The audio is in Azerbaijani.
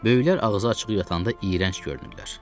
Böyüklər ağzı açıq yatanda iyrənc görünürlər.